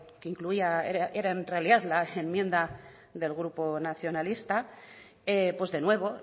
que incluía era en realidad la enmienda del grupo nacionalista de nuevo